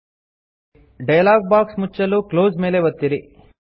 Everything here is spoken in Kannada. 000559 000502 ಡಯಲಾಗ್ ಬಾಕ್ಸ್ ಮುಚ್ಚಲು ಕ್ಲೋಸ್ ಮೇಲೆ ಒತ್ತಿರಿ